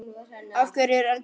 Af hverju er eldur heitur?